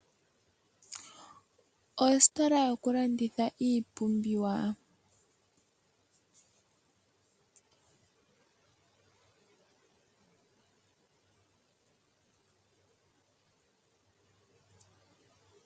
Ostola yokulanditha iipumbiwa .